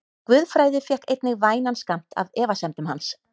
Guðfræði fékk einnig vænan skammt af efasemdum hans.